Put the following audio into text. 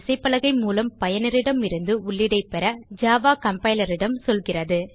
விசைப்பலகை மூலம் பயனரிடமிருந்து உள்ளீடைப் பெற ஜாவா கம்பைலர் இடம் சொல்கிறது